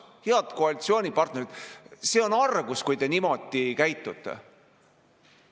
Head koalitsioonipartnerid, see on argus, kui te niimoodi käitute!